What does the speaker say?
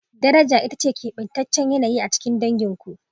Honor is the distinct dynamics within your famil